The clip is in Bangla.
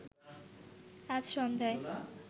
আজ সন্ধ্যায়